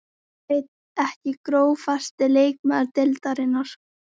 Veit það ekki Grófasti leikmaður deildarinnar?